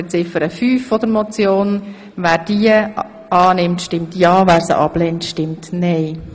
Wer Ziffer fünf der Motion annehmen will, stimmt ja, wer sie ablehnt, stimmt nein.